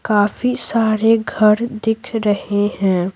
काफी सारे घर दिख रहे हैं।